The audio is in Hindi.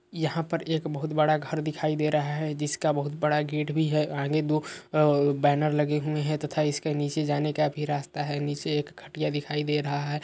यहाँ पर एक बोहोत बड़ा घर दिखाई दे रहा है जिसका बोहोत बड़ा गेट भी है। आगे दो बैनर लगे हुए हैं तथा इसके नीचे जाने का भी रास्ता है। नीचे एक खटिया दिखाई दे रहा है।